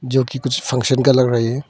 जो कि कुछ फंक्शन का लग रही है।